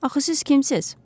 Axı siz kimsiz?